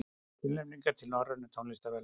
Tilnefningar til Norrænu tónlistarverðlaunanna